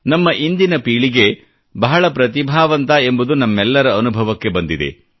ನಮ್ಮ ಇಂದಿನ ಪೀಳಿಗೆ ಬಹಳ ಪ್ರತಿಭಾವಂತ ಎಂಬುದು ನಮ್ಮೆಲ್ಲರ ಅನುಭವಕ್ಕೆ ಬಂದಿದೆ